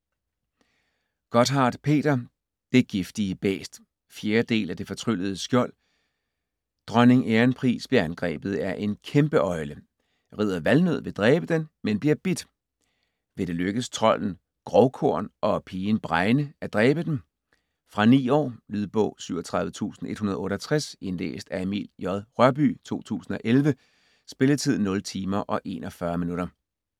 Gotthardt, Peter: Det giftige bæst 4. del af Det fortryllede skjold. Dronning Ærenpris bliver angrebet af en kæmpeøgle. Ridder Valnød vil dræbe den, men bliver bidt. Vil det lykkes trolden Grovkorn og pigen Bregne at dræbe den? Fra 9 år. Lydbog 37168 Indlæst af Emil J. Rørbye, 2011. Spilletid: 0 timer, 41 minutter.